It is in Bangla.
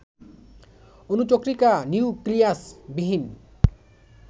অণুচক্রিকা নিউক্লিয়াসবিহীন